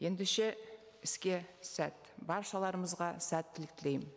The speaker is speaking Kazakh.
ендеше іске сәт баршаларымызға сәттілік тілеймін